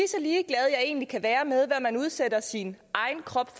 egentlig kan være med hvad man udsætter sin egen krop